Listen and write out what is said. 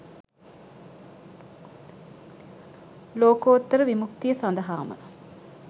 ලෝකෝත්තර විමුක්තිය සඳහාම